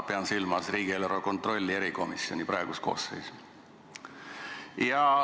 Pean silmas riigieelarve kontrolli erikomisjoni praegust koosseisu.